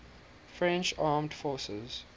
french armed forces